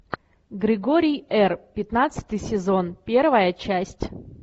григорий р пятнадцатый сезон первая часть